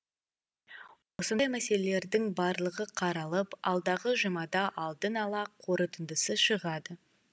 осындай мәселелердің барлығы қаралып алдағы жұмада алдын ала қорытындысы шығады